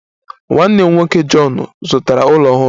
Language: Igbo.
Nwanne m nwoke John zụtara ụlọ ọhụrụ